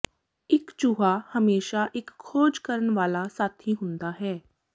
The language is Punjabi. ਇੱਕ ਚੂਹਾ ਹਮੇਸ਼ਾ ਇੱਕ ਖੋਜ ਕਰਨ ਵਾਲਾ ਸਾਥੀ ਹੁੰਦਾ ਹੈ